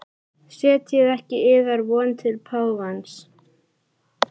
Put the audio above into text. Setjið ekki yðar von til páfans.